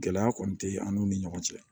Gɛlɛya kɔni tɛ an n'u ni ɲɔgɔn cɛ